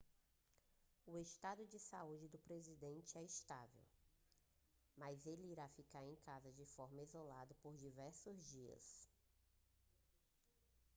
o estado de saúde do presidente é estável mas ele irá ficar em casa de forma isolada por diversos dias